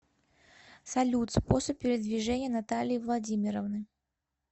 салют способ передвижения натальи владимировны